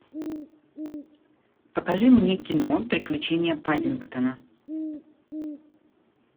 покажи мне кино приключения паддингтона